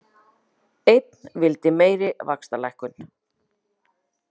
Einn vildi meiri vaxtalækkun